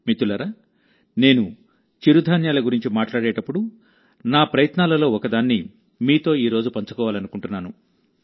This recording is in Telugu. మిత్రులారానేను చిరు ధాన్యాల గురించి మాట్లాడేటప్పుడునా ప్రయత్నాలలో ఒకదాన్ని మీతో ఈ రోజు పంచుకోవాలనుకుంటున్నాను